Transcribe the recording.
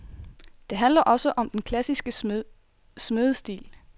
Det handler også om den klassiske smedestil.